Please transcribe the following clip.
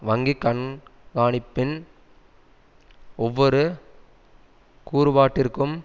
வங்கி கண்காணிப்பின் ஒவ்வொரு கூறுபாட்டிற்கும்